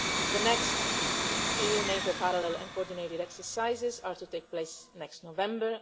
The next EU NATO parallel and coordinated exercises are to take place next November.